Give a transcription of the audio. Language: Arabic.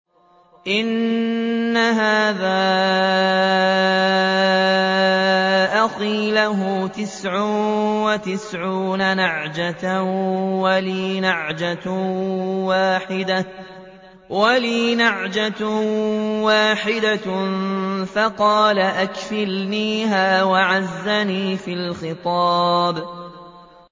إِنَّ هَٰذَا أَخِي لَهُ تِسْعٌ وَتِسْعُونَ نَعْجَةً وَلِيَ نَعْجَةٌ وَاحِدَةٌ فَقَالَ أَكْفِلْنِيهَا وَعَزَّنِي فِي الْخِطَابِ